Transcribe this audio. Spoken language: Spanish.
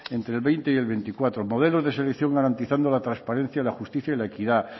entre el veinte y el veinticuatro modelos de selección garantizando la transparencia la justicia y la equidad